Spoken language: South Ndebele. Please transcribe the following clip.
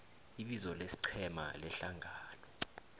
ibizo lesiqhema lehlangano